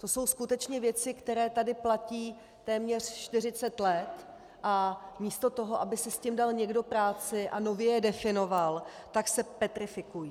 To jsou skutečně věci, které tady platí téměř 40 let, a místo toho, aby si s tím dal někdo práci a nově je definoval, tak se petrifikují.